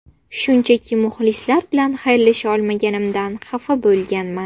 Shunchaki muxlislar bilan xayrlasha olmaganimdan xafa bo‘lganman.